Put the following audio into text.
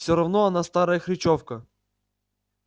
всё равно она старая хрычовка